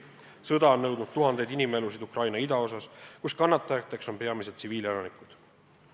Sõda on nõudnud tuhandeid inimelusid Ukraina idaosas, kus kannatajateks on peamiselt tsiviilelanikud.